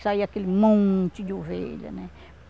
Que saía aquele monte de ovelha, né?